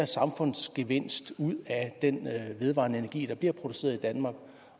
samfundsgevinst ud af den vedvarende energi der bliver produceret i danmark